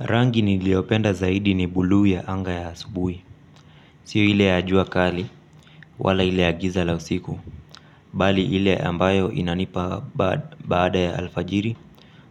Rangi niliopenda zaidi ni bulu ya anga ya asubui. Sio ile ya jua kali wala ile giza la usiku. Bali ile ambayo inanipa baada ya alfajiri